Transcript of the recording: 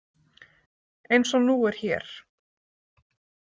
Eins og nú er hér.